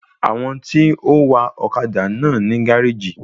Àwọn tí ó ń wa ọ́kadà náà ní gáréjì